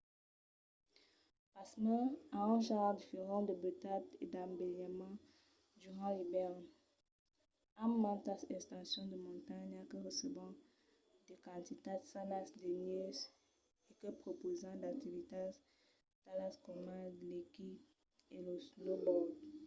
pasmens an un genre diferent de beutat e d'embelinament durant l'ivèrn amb mantas estacions de montanha que recebon de quantitats sanas de nèus e que prepausan d'activitats talas coma l'esquí e lo snowboard